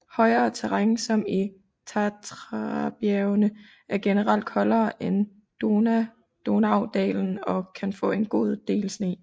Højere terræn som i Tatrabjergene er generelt koldere end Donaudalen og kan få en god del sne